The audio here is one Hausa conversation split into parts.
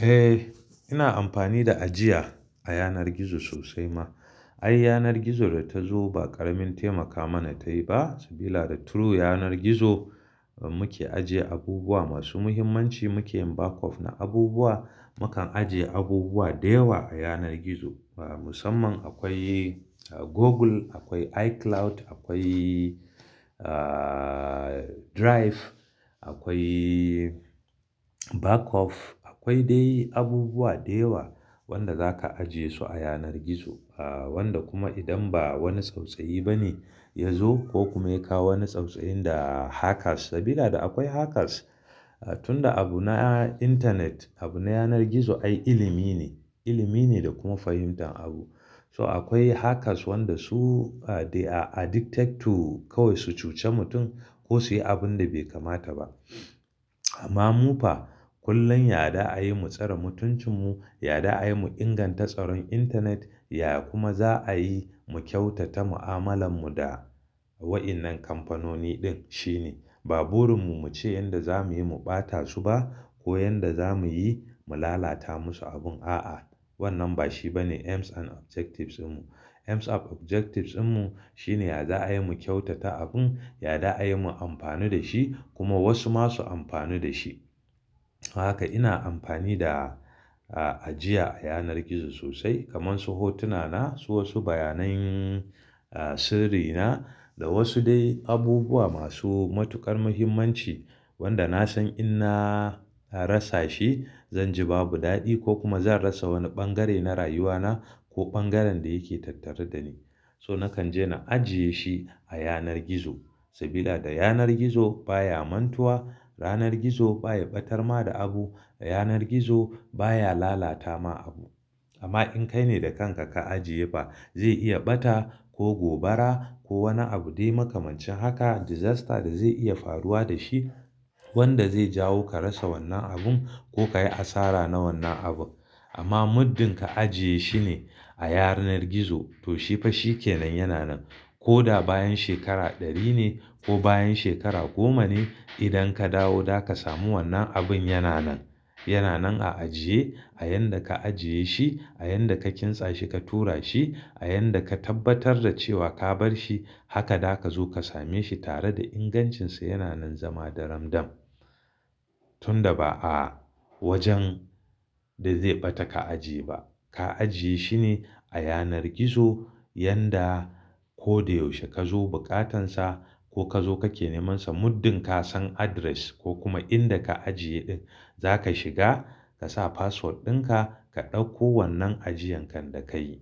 Eh, ina amfani da ajiya a yanar gizo sosai ma. Ai yanar gizo da ta zo ba ƙaramin taimaka mana tayi ba, sabida da through yanar gizo muke ajiye abubuwa masu muhimmanci, muke yin backup na abubuwa, mukan ajiye abubuwa da yawa a yanar gizo. Musamman akwai Google, akwai iCloud, akwai, ah, Drive, akwai backup, akwai dai abubuwa da yawa wanda zaka ajiye su a yanar gizo. Wanda kuma idan ba wani tsautsayi bane ya zo ko kuma yakawo wani tsautsayi da hackers, sabila da akwai hackers. Tunda abu na internet, abu na yanar gizo ai ilimi ne, ilimi ne da kuma fahimtar abu. So akwai hackers wanda su, dai are addicted to kawai su cuce mutum ko su yi abun da bai kamata ba. Amma mu fa kullum yada ayi mu tsare mutuncin mu, yadda ayi mu inganta tsaron internet, ya kuma za'ayi mu kyautata mu'amalan mu da wa'innan kamfanoni din shine. Ba burin mu muce yanda zamuyi mu bata su ba ko yanda zamuyi mu lalata musu abun, a'a. Wannan ba shi bane aims and objectives din mu. Aims and objectives mu shine yadda ayi mu kyautata abun, yadda ayi mu amfani da shi kuma wasu masu amfani da shi. Haka ina amfani da, ah, ajiya a yanar gizo sosai kamar su hotuna na, su wasu bayanan sirri na da wasu dai abubuwa masu matuƙar muhimmanci wanda nasan in na rasa shi zanji babu daɗi ko kuma zan rasa wani ɓangare na rayuwa na ko bangaren da yake tattare da ni. So nakan je na ajiye shi a yanar gizo sabila da yanar gizo baya amantuwa, yanar gizo baya batar ma da abu, yanar gizo baya lalata ma abu. Amma in kai ne da kanka ka ajiye fa, zai iya bata ko gobara ko wani abu dai makamancin haka disaster da zai iya faruwa da shi wanda zai jawo ka rasa wannan abun ko kayi asara na wannan abu. Amma muddin ka ajiye shine a yanar gizo to shi fa shi kenan yana nan. Ko da bayan shekara ɗari ne ko bayan shekara goma ne, idan ka dawo zaka samu wannan abun yana nan. Yana nan a ajiye a yanda ka ajiye shi, a yanda ka kintsa shi ka tura shi, a yanda ka tabbatar da cewa ka bar shi, haka da ka zo ka same shi tare da ingancin sa yana nan zama daramdam. Tunda ba a wajen da zai bata ka ajiye ba. Ka ajiye shine a yanar gizo yanda ko da yaushe ka zo buƙatan sa ko ka zo kake neman sa muddin ka san address ko kuma inda ka ajiye ɗin, zaka shiga ka sa password ɗinka ka ɗauko wannan ajiyan kan da kayi.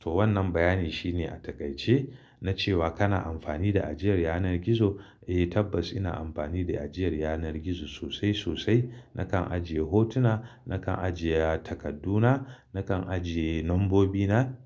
To wannan bayani shine a takaice na cewa kana amfani da ajiyar yanar gizo. Eh tabbas ina amfani da ajiyar yanar gizo sosai sosai. Nakan ajiye hotuna, nakan ajiye takadduna, nakan ajiye nambobi na,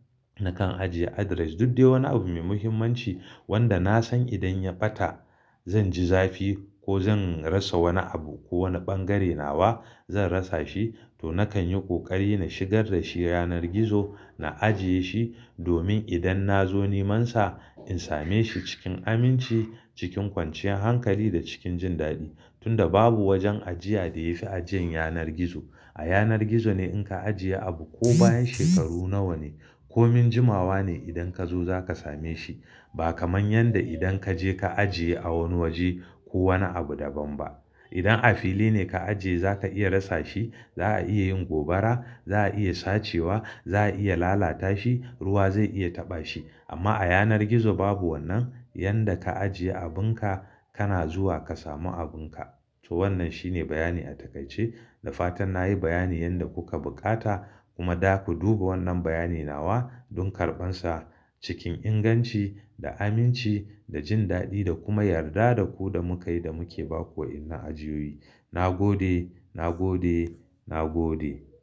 nakan ajiye address, duk dai wani abu mai muhimmanci wanda nasan idan ya bata zanji zafi ko zan rasa wani abu ko wani bangare nawa zan rasa shi to nakan yi ƙoƙari na shigar da shi yanar gizo, na ajiye shi domin idan na zo neman sa in same shi cikin aminci, cikin kwanciyar hankali da cikin jin daɗi. Tunda babu wajen ajiya da yafi ajiyan yanar gizo. A yanar gizo ne in ka ajiye abu ko bayan shekaru nawa ne ko min jimawa ne idan ka zo zaka same shi. Ba kamar yanda idan kaje ka ajiye a wani waje ko wani abu daban ba. Idan a fili ne ka ajiye zaka iya rasa shi, za'a iya yin gobara, za'a iya sace wa, za'a iya lalata shi, ruwa zai iya taɓa shi. Amma a yanar gizo babu wannan, yanda ka ajiye abunka kana zuwa ka samu abunka. To wannan shine bayani a takaice. Da fatan nayi bayanin yanda kuka buƙata kuma da ku duba wannan bayani nawa don karɓan sa cikin inganci da aminci da jin daɗi da kuma yarda da ku da muka yi da muke ba ku wa'innan ajiyoyi. Na gode, na gode, na gode.